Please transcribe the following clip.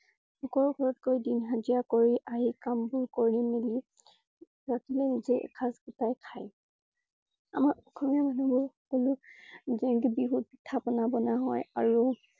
লোকৰ ঘৰত গৈ দিন হাজিৰা কৰি আহি কাম বোৰ কৰি মেলি ৰাতি নিজেই এখাজ গোটেই খাই। আমাৰ অসমীয়া মানুহবোৰ সকলো বিহুত পিঠা পনা বনুৱা হয় আৰু